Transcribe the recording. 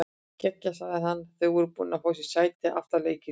Geggjað sagði hann þegar þau voru búin að fá sér sæti aftarlega í kirkjunni.